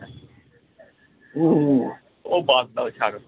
ও বাদ দাও ছাড়ো